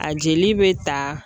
A jeli bɛ ta